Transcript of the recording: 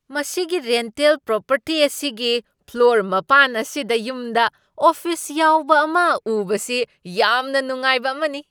ꯃꯁꯤꯒꯤ rental property ꯑꯁꯤꯒꯤ floor plan ꯑꯁꯤꯗ ꯌꯨꯝꯗ ꯑꯣꯐꯤꯁ ꯌꯥꯎꯕ ꯑꯃ ꯎꯕꯁꯤ ꯌꯥꯝꯅ ꯅꯨꯡꯉꯥꯏꯕ ꯑꯃꯅꯤ ꯫